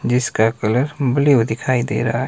जिसका colour blue दिखाई दे रहा है।